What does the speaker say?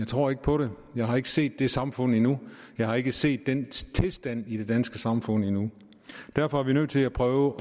tror ikke på det jeg har ikke set det samfund endnu jeg har ikke set den tilstand i det danske samfund endnu derfor er vi nødt til at prøve